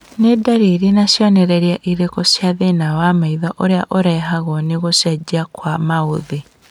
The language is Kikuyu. Nĩ ndariri na cionereria irĩkũ cia thĩna wa maitho ũrĩa ũrehagwo nĩ gũcenjia kwa maũthĩ